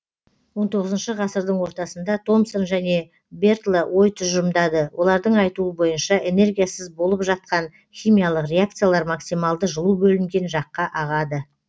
ғасылдың ортасында томсон және бертло ой тұжырымдады олардың айтуы бойынша энергиясыз болып жатқан химиялық реакциялар максималды жылу бөлінген жаққа ағады